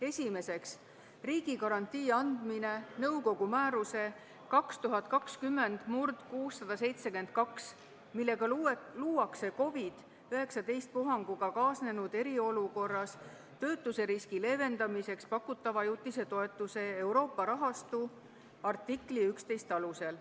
Esiteks, "Riigigarantii andmine nõukogu määruse 2020/672, millega luuakse COVID-19 puhanguga kaasnenud eriolukorras töötuseriski leevendamiseks pakutava ajutise toetuse Euroopa rahastu , artikli 11 alusel".